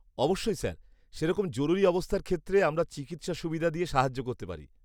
-অবশ্যই স্যার। সেরকম জরুরী অবস্থার ক্ষেত্রে আমরা চিকিৎসা সুবিধা দিয়ে সাহায্য করতে পারি।